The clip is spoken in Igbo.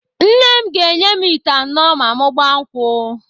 Nne m ga-enye m ite anọ ma mụ gbaa nkwụ.